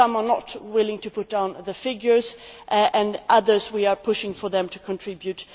some are not willing to put down the figures and with others we are pushing for them to contribute.